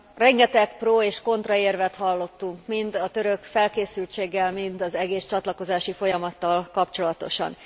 Rengeteg pro és kontra érvet hallottunk, mind a török felkészültséggel, mind az egész csatlakozási folyamattal kapcsolatosan.